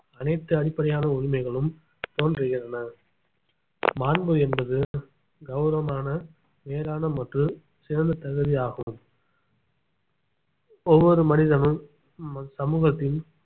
அனைத்து அடிப்படையான உரிமைகளும் தோன்றுகின்றன மாண்பு என்பது கௌரவமான நேரான மற்றும் சிறந்த தகுதியாகும் ஒவ்வொரு மனிதனும் ம~ சமூகத்தின்